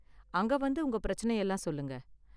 அங்க வந்து உங்க பிரச்சனையெல்லாம் சொல்லுங்க